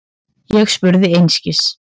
Ég spurði einskis.